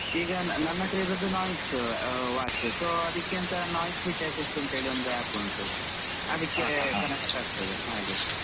ಈಗ ನನ್ ಹತ್ರ ಇರುದು Noise watch so ಅದಿಕ್ಕೆಂತ NoiseFit Assist ಅಂತ್ ಹೇಳಿ ಒಂದು app ಉಂಟು. connect ಆಗ್ತದೆ ಹಾಗೆ.